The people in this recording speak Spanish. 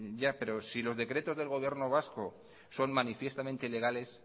ya pero si los decretos del gobierno vasco son manifiestamente legales